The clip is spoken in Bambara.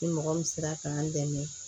Ni mɔgɔ min sera k'an dɛmɛ